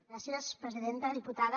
gràcies presidenta diputada